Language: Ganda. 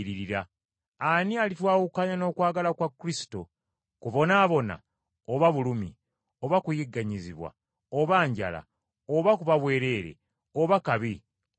Ani alitwawukanya n’okwagala kwa Kristo? Kubonaabona, oba bulumi, oba kuyigganyizibwa, oba njala, oba kuba bwerere, oba kabi, oba kitala?